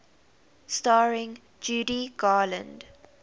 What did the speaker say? starring judy garland